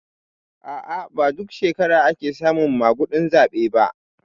A'a ba duk shekara ake samun maguɗin zaɓe ba